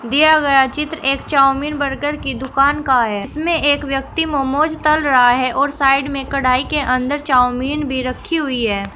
दिया गया चित्र एक चाऊमीन बर्गर की दुकान कहां है इसमें एक व्यक्ति मोमोज तल रहा है और साइड में कढ़ाई के अंदर चाऊमीन भी रखी हुई है।